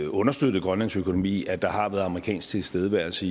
understøttet grønlands økonomi at der har været amerikansk tilstedeværelse